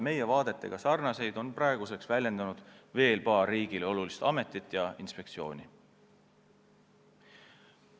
Meie vaadetega sarnaseid seisukohti on väljendanud veel paar riigile olulist ametit ja inspektsiooni.